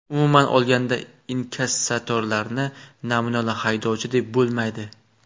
Umuman olganda, inkassatorlarni namunali haydovchi deb bo‘lmaydi .